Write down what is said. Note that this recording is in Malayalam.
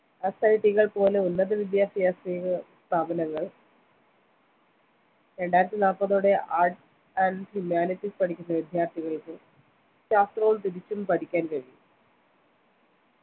പോലെ ഉന്നതവിദ്യാഭ്യാസ സ്ഥാപനങ്ങൾ രണ്ടായിരത്തിനാല്പതോടെ Art and humanitis പഠിക്കുന്ന വിദ്യാർത്ഥികൾക്ക് ശാസ്ത്രവും തിരിച്ചും പഠിക്കാൻ കഴിയും